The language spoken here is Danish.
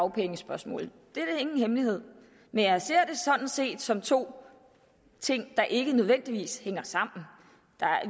dagpengespørgsmålet det er ingen hemmelighed men jeg ser det sådan set som to ting der ikke nødvendigvis hænger sammen